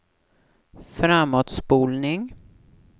framåtspolning